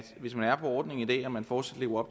hvis man er på ordningen i dag og man fortsat lever